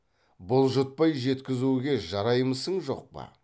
бұлжытпай жеткізуге жараймысың жоқ па